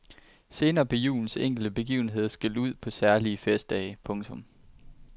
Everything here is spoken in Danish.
Senere blev julens enkelte begivenheder skilt ud på særlige festdage. punktum